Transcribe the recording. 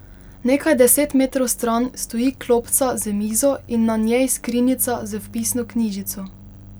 Nekaj deset metrov stran stoji klopca z mizo in na njej skrinjica z vpisno knjižico.